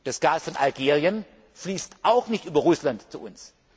Das Gas von Algerien fließt auch nicht über Russland zu